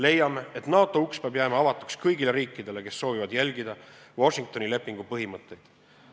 Leiame, et NATO uks peab jääma avatuks kõigile riikidele, kes soovivad järgida Washingtoni lepingu põhimõtteid.